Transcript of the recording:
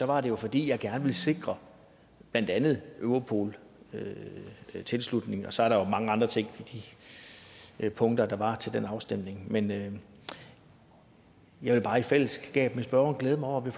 var det jo fordi jeg gerne ville sikre blandt andet europol tilslutning og så er der jo mange andre ting i de punkter der var til den afstemning men jeg vil bare i fællesskab med spørgeren glæde mig over at vi